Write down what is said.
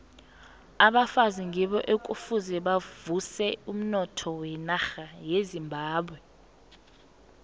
abafazi ngibo ekufuze bavuse umnotho wenarha yezimbabwe